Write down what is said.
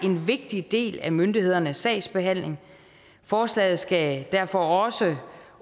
en vigtig del af myndighedernes sagsbehandling forslaget skal derfor også